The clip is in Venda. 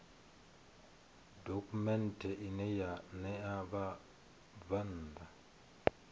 dokhumenthe ine ya ṋea vhabvann